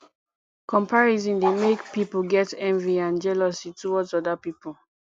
comparison dey make pipo get envy and jealously towards oda pipo